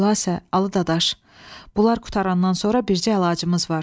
Xülasə, Alı Dadaş, bunlar qurtarandan sonra bircə əlacımız var.